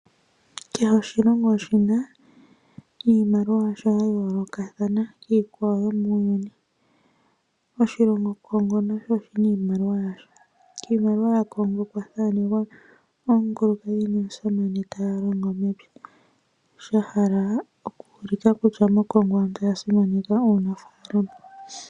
Kehe oshilongo oshina iimaliwa yasho ya yoolokathana kiikwawo muuyuni poshilongo Congo nasho oshina iimaliwa yasho kiimaliwa ya Congo okuulikwa omukulukadhi nomusamane taa longo mepya sha hala okutya koCongo aantu oya simaneka uunafalama.